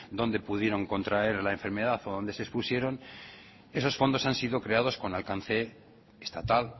dónde pudieron contraer la enfermedad o dónde se expusieron esos fondos han sido creados con alcance estatal